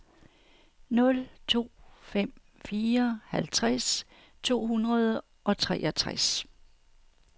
nul to fem fire halvtreds to hundrede og treogtres